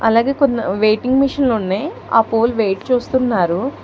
అలాగే కొన్ని వెయిటింగ్ మిషన్లున్నాయ్ ఆ పూలు వెయిట్ చూస్తున్నారు.